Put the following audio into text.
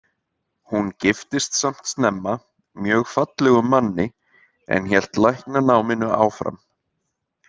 Hún giftist samt snemma, mjög fallegum manni, en hélt læknanáminu áfram.